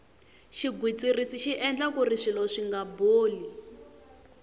xigwitsirisi xi endla kuri swilo swinga boli